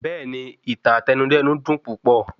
Bẹ́ẹ̀ni, Ìtàn Àtẹnudẹ́nu dùn púpọ̀